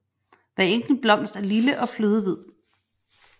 Hver enkelt blomst er lille og flødehvid